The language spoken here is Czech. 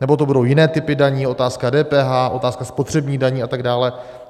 Nebo to budou jiné typy daní - otázka DPH, otázka spotřebních daní a tak dále.?